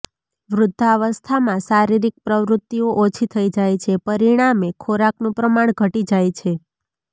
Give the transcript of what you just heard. વૃદ્ધાવસ્થામાં શારીરિક પ્રવૃત્તિઓ ઓછી થઈ જાય છે પરિણામે ખોરાકનું પ્રમાણ ઘટી જાય છે